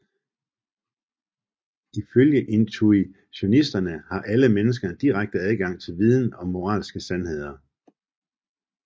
Ifølge intuitionisterne har alle mennesker en direkte adgang til viden om moralske sandheder